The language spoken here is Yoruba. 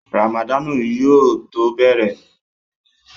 Ràmàdánù yóò tó bẹ̀rẹ̀